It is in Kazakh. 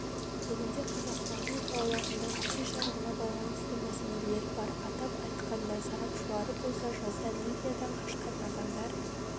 бүгінде қазақстанның қалаларында көше жарығына байланысты мәселелері бар атап айтқанда сарапшылары болса жазда ливиядан қашқан адамдар